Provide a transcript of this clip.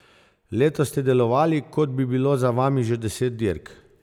Letos ste delovali, kot bi bilo za vami že deset dirk.